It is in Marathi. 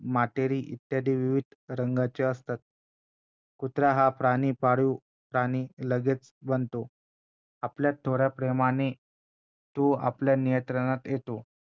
मातेरी इत्यादी विविध रंगांचे असतात कुत्रा हा प्राणी पाळीव प्राणी लगेच बनतो आपल्या थोड्या प्रेमाने तो आपल्या नियंत्रणात येतो